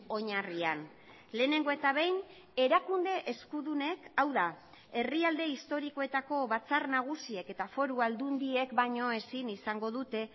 oinarrian lehenengo eta behin erakunde eskudunek hau da herrialde historikoetako batzar nagusiek eta foru aldundiek baino ezin izango dute